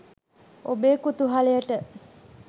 ඔබේ කුතුහලයට